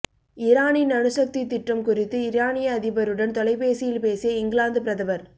ஈரானின் அணுசக்தி திட்டம் குறித்து ஈரானிய அதிபருடன் தொலைபேசியில் பேசிய இங்கிலாந்து பிரதமர்